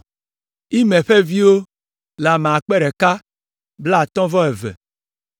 Imer ƒe viwo le ame akpe ɖeka kple blaatɔ̃ vɔ eve (1,052).